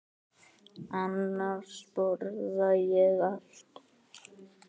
Annars borða ég allt.